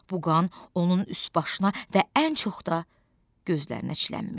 Bu qan onun üst-başına və ən çox da gözlərinə çilənmişdi.